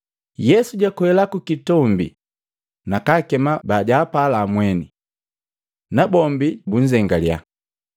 Yesu jakwela kukitombi, na kakema bajaapala mweni. Na bombi nukunzengale,